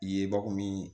Yebakun min